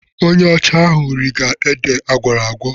Onye ọcha ahụ rige ede agwọrọ agwọ..